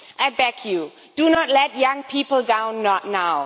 I beg you, do not let young people down, not now.